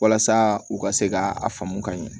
Walasa u ka se ka a faamu ka ɲɛ